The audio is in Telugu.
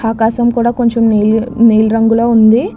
ఆకాశం కూడా కొంచెం నీలి నీలిరంగులో ఉంది.